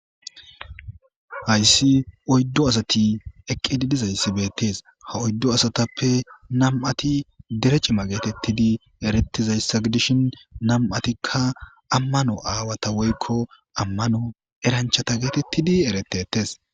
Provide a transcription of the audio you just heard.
Haysi oydu asati eqidi bizaysi betes ha oydu asatape nam'ati dere c'ima getetidi getetizaysa gidishin nam'atika amano awata woyko eranchata getetidi eretetes.